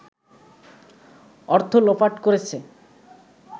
অর্থ লোপাট করেছে